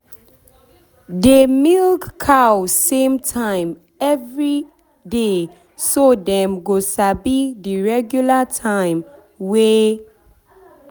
dey milk cow same time every every day so dem go sabi the regular time way